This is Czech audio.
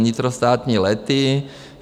Vnitrostátní lety.